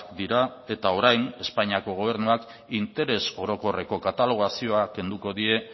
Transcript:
dira eta orain espainiako gobernuak interes orokorreko katalogazioa kenduko die